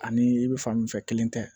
Ani i bɛ fan min fɛ kelen tɛ